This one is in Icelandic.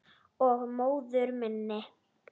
Og móður minni.